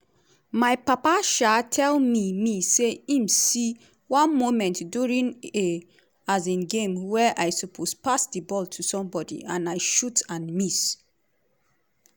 "my papa um tell me me say im see one moment during a um game wia i suppose pass di ball to somebody and i shot and miss.